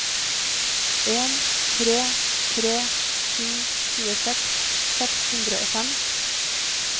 en tre tre sju tjueseks seks hundre og fem